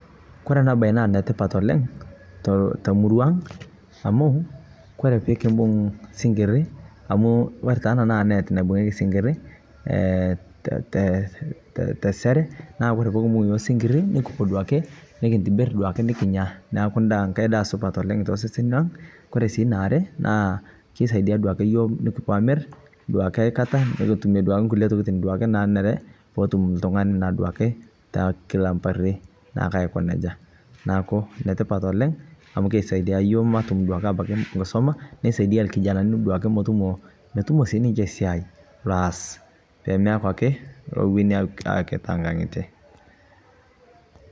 netipat oleng amu kore puumbung sinkir neaku ndaa, nikimir piikimir silinkinii, notum sii lkijananii siai loaz pemewenii akee te nkang'ite